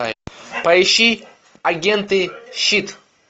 поищи агенты щит